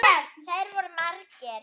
Þeir voru margir.